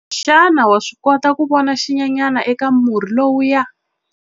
Xana wa swi kota ku vona xinyenyana eka murhi lowuya?